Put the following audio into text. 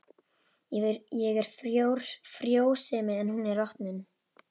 Ég er frjósemi en hún er rotnun.